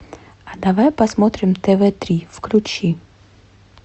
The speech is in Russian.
а давай посмотрим тв три включи